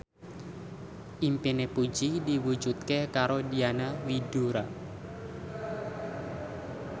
impine Puji diwujudke karo Diana Widoera